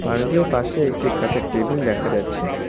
আরেকজনের পাশে একটি কাঠের টেবিল দেখা যাচ্ছে।